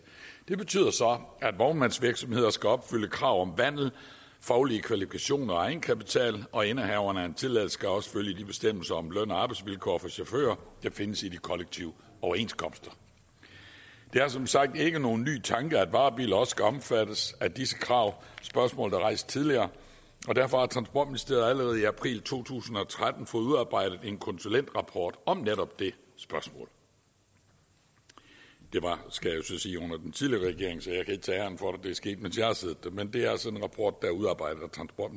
det betyder så at vognmandsvirksomheder skal opfylde et krav om vandel faglige kvalifikationer og egenkapital og indehaveren af en tilladelse skal også følge de bestemmelser om løn og arbejdsvilkår for chauffører der findes i de kollektive overenskomster det er som sagt ikke nogen ny tanke at varebiler også skal omfattes af disse krav spørgsmålet er rejst tidligere og derfor har transportministeriet allerede i april to tusind og tretten fået udarbejdet en konsulentrapport om netop det spørgsmål det var skal jeg jo så sige under den tidligere regering så jeg kan ikke tage æren for at det er sket mens jeg har siddet der men det er altså en rapport der er udarbejdet af